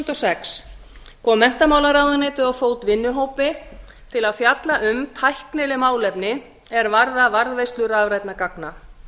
og sex kom menntamálaráðuneytið á fót vinnuhópi til að fjalla um tæknileg málefni er varða varðveislu rafrænna gagna